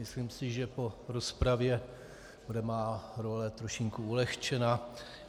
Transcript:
Myslím si, že po rozpravě bude moje role trošičku ulehčena.